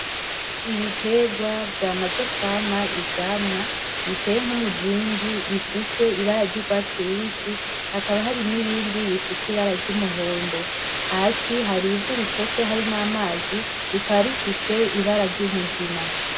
Ibiterwa vyamaze kwama ivyamwa biteye nk'umuzingi bifise ibara ry'urwatsi rubisi hakaba hari n'ibindi bifise ibara ry'umuhondo, hasi hari ivu ritose hari n'amazi rikaba rifise ibara ry'umugina.